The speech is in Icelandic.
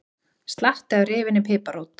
Slatti af rifinni piparrót